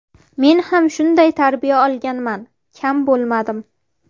Men ham shunday tarbiya olganman, kam bo‘lmadim.